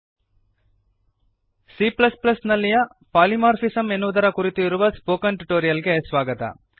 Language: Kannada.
C ನಲ್ಲಿಯ ಪಾಲಿಮಾರ್ಫಿಸಮ್ ಪಾಲಿಮಾರ್ಫಿಸಮ್ ಎನ್ನುವುದರ ಕುರಿತು ಇರುವ ಸ್ಪೋಕನ್ ಟ್ಯುಟೋರಿಯಲ್ ಗೆ ಸ್ವಾಗತ